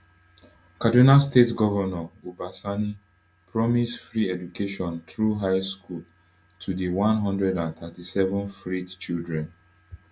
kaduna state govnor uba sani promise free education through high school to di one hundred and thirty-seven freed children